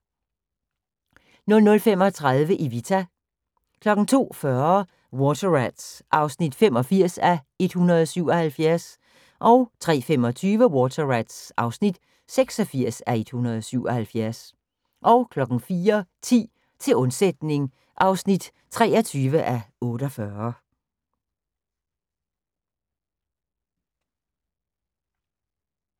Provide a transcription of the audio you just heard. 00:35: Evita 02:40: Water Rats (85:177) 03:25: Water Rats (86:177) 04:10: Til undsætning (23:48)